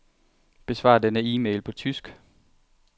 Besvar denne e-mail på tysk.